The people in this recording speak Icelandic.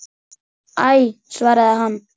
Æ svaraði hann.